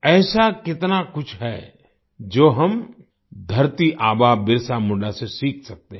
ऐसा कितना कुछ है जो हम धरती आबा बिरसा मुंडा से सीख सकते हैं